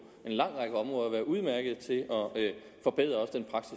en lang række områder synes at være udmærket til at forbedre